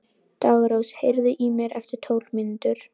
Daggrós, heyrðu í mér eftir tólf mínútur.